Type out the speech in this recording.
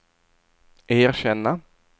erkänna